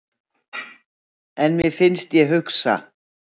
En mér finnst ég hugsa.